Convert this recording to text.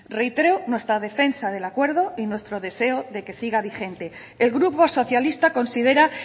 reitero nuestra defensa del acuerdo y nuestro deseo de que siga vigente el grupo socialista considera